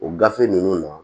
O gafe ninnu na